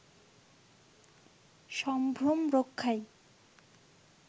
সম্ভ্রম রক্ষায়